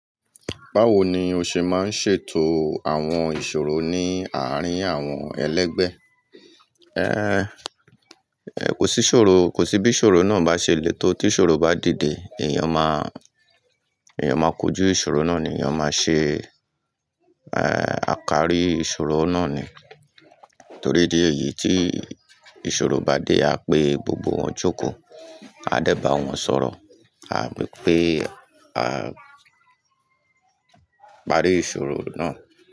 Báwo ni o ṣe máa ń ṣètò àwọn ìṣòro ní àárín àwọn ẹlẹgbẹ́? Kò sí ṣòro, kò sí bí ìṣòro náà bá ṣe le tó tí ìṣòro bá dìde, èèyàn má, èèyàn máa kojú ìṣòro náà ni, èèyàn máa ṣe, akari ìṣòro náà ni. Torí idi èyí tí ìṣòro bá dé a pé gbogbo wọn jókòó, a dẹ́ba wọn sọ̀rọ̀, àbí pé a parí ìṣòro náà.